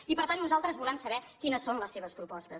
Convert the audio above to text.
i per tant nosaltres volem saber quines són les seves propostes